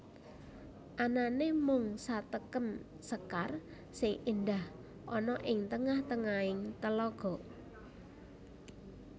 Anane mung satekem sekar sing endah ana ing tengah tengahing telaga